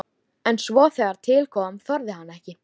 En svo þegar til kom þorði hann ekki.